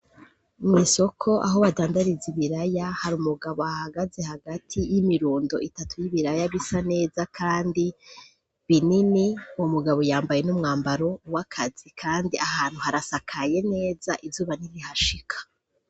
Mw'isoko aho badandariza ibiraya hari umugabo ahahagaze hagati y'imirundo itatu y'ibiraya bisa neza kandi binini. Uwo mugabo yambaye n'umwambaro w'akazi kandi aho hantu harasakaye neza, izuba ntirihashika.